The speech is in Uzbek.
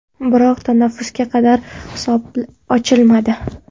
Biroq tanaffusga qadar hisob ochilmadi.